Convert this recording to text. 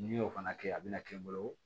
N'i y'o fana kɛ a bɛna kɛ n bolo